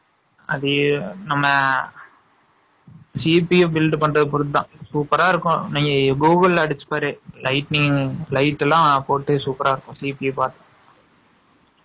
அது நம்ம, GPF build பண்றது பொறுத்துதான். Super ஆ இருக்கும். நீங்க Google ல அடிச்சு பாரு. Lighting , light எல்லாம் போட்டு, super ஆ இருக்கும்